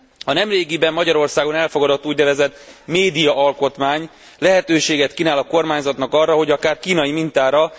A nemrégiben Magyarországon elfogadott úgynevezett médiaalkotmány lehetőséget kínál a kormányzatnak arra, hogy akár kínai mintára.